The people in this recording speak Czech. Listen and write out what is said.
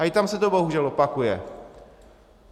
A i tam se to bohužel opakuje.